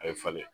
A ye falen